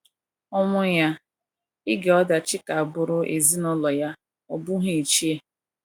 ọnwụ ya ,ige ọdachi ka bụụrụ ezinụlọ ya, ọ bụghị iche